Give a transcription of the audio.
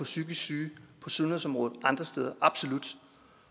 psykisk syge og sundhedsområdet og andre steder absolut